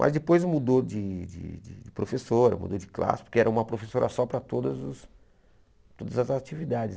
Mas depois mudou de de de professora, mudou de classe, porque era uma professora só para todas as todas as atividades.